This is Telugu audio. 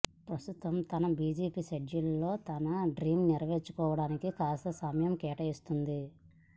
ప్రసతుతం తన బిజీ షెడ్యూల్స్ లో తన డ్రీమ్స్ నెరవేర్చుకోవడానికి కాస్త సమయం కేటాయిస్తోంది